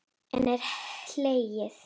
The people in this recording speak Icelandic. Enn er hlegið.